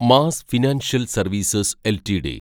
mass financial services LTD